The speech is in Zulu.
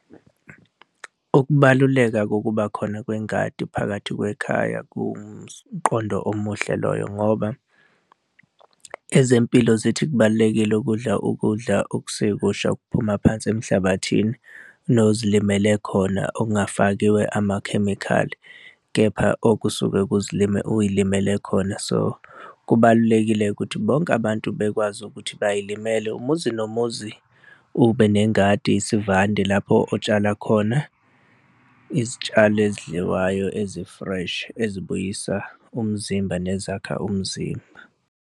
Ukubaluleka kokuba khona kwengadi phakathi kwekhaya kuwumqondo omuhle loyo ngoba ezempilo zithi kubalulekile ukudla ukudla okusekusha okuphuma phansi emhlabathini nozilimele khona okungafakiwe amakhemikhali kepha okusuke uy'limele khona. So, kubalulekile ukuthi bonke abantu bekwazi ukuthi bay'limele umuzi nomuzi ube nengadi isivande lapho otshala khona izitshalo ezidliwayo ezi-fresh, ezibuyisa umzimba, nezakha umzimba.